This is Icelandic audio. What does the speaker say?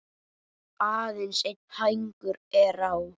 Aðeins einn hængur er á.